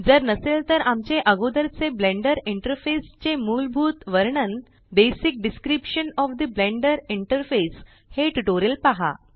जर नसेल तर आमचे अगोदर चे ब्लेंडर इंटरफेस चे मूलभूत वर्णन हे ट्यूटोरियल पहा